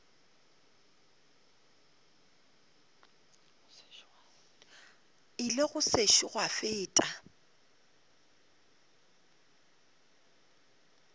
ile go sešo gwa feta